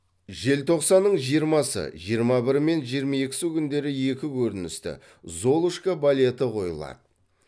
желтоқсанның жиырмасы жиырма бірі мен жиырма екісі күндері екі көріністі золушка балеті қойылады